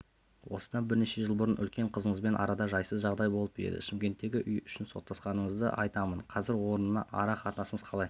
осыдан бірнеше жыл бұрын үлкен қызыңызбен арада жайсыз жағдай болып еді шымкенттегі үй үшін соттасқаныңызды айтамын қазір онымен ара қатынасыңыз қалай